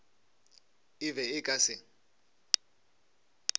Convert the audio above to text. e be e ka se